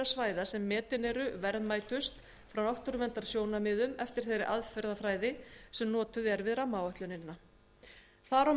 svæða sem metin eru verðmætust frá náttúruverndarsjónarmiðum eftir þeirri aðferðafræði sem notuð er í